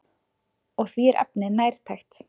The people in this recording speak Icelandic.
Og því er efnið nærtækt.